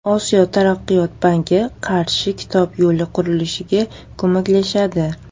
Osiyo taraqqiyot banki Qarshi–Kitob yo‘li qurilishiga ko‘maklashadi.